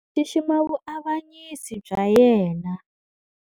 Xixima vuavanyisi bya yena.